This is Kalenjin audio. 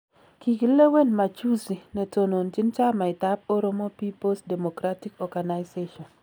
Kikilewen Majuzi Netononjin chamait ab Oromo People's Democratic Organization